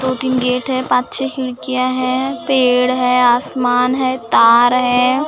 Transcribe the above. दो तीन गेट है पांच छे खिड़कियां है पेड़ है आसमान है तार है।